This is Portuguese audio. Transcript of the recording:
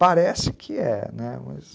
Parece que é, né, mas...